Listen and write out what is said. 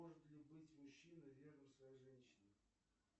может ли быть мужчина верным своей женщине